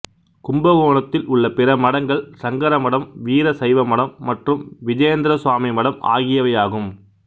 கும்பகோணத்தில் உள்ள பிற மடங்கள் சங்கர மடம் வீர சைவ மடம் மற்றும் விஜேந்திரசுவாமி மடம் ஆகியவையாகும்